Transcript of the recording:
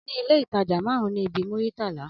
Aní ilé ìtajà marun ní ibi Muritala